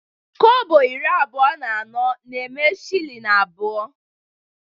Kobo iri abụọ na anọ na-eme shilling abụọ